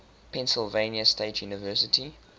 pennsylvania state university